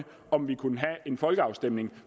om vi kunne have en folkeafstemning